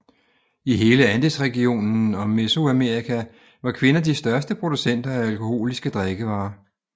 I hele Andesregionen og Mesoamerika var kvinder de største producenter af alkoholiske drikkevarer